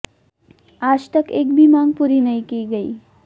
आज तक एक भी मांग पूरी नहीं की गई